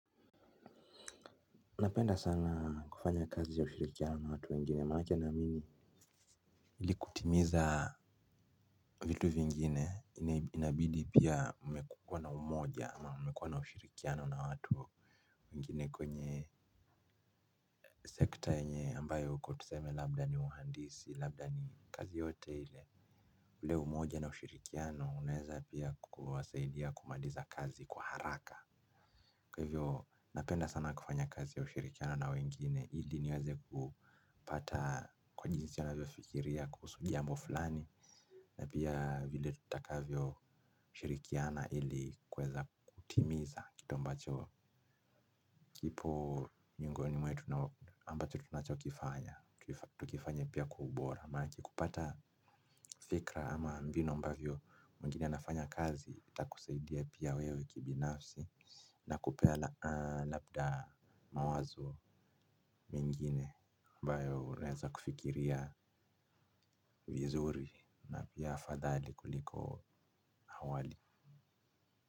Napenda sana kufanya kazi ya ushirikiano na watu wengine manake naamini. Ili kutimiza vitu vingine inabidi pia umekuwa na umoja ama umekuwa na ushirikiano na watu wengine kwenye sekta yenye ambayo uko tuseme labda ni uhandisi labda ni kazi yoyote hile. Ule umoja na ushirikiano unaeza pia kuwasaidia kumaliza kazi kwa haraka. Kwa hivyo napenda sana kufanya kazi ya ushirikiano na wengine ili niweze kupata kwa jinsi anavyofikiria kuhusu jambo fulani. Na pia vile tutakavyo shirikiana ili kuweza kutimiza kitu ambacho kipo miongoni mwetu na ambacho tunachokifanya, tukifanya pia kwa ubora. Manake kupata fikra ama mbinu ambavyo mwingine anafanya kazi itakusaidia pia wewe kibinafsi na kupea labda mawazo mengine ambayo unaeza kufikiria vizuri. Na pia afadhali kuliko awali.